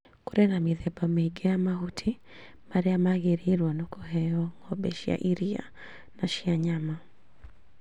Kũrĩ na mĩthemba mĩingi ya mahuti marĩa magĩrĩirwo nĩ kũheo ng'ombe cia iria na cia nyama